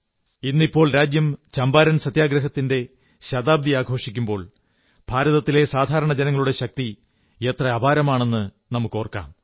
ഇന്നിപ്പോൾ രാജ്യം ചമ്പാരൻ സത്യഗ്രഹത്തിന്റെ ശതാബ്ദി ആഘോഷിക്കുമ്പോൾ ഭാരതത്തിലെ സാധാരണ ജനങ്ങളുടെ ശക്തി എത്ര അപാരമാണ് എന്നോർക്കാം